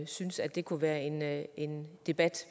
synes at det kunne være en være en debat